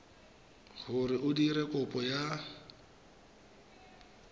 gore o dire kopo ya